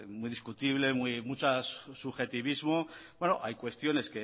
muy discutible muchos subjetivismos bueno hay cuestiones